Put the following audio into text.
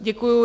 Děkuji.